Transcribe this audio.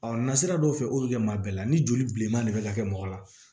nasira dɔw fɛ olu bɛ maa bɛɛ la ni joliman de bɛ ka kɛ mɔgɔ la